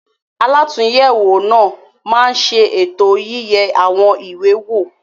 Alàtúnyẹwò náà má ṣe ètò yiye àwọn ìwé wo.